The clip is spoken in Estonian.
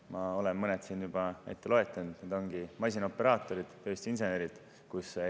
Ma olen mõned siin juba ette lugenud: need ongi masinaoperaatorid, tööstusinsenerid.